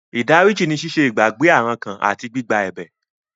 Ìdáríjì ní ṣíṣe ìgbàgbé àrankàn àti gbígba ẹ̀bẹ̀.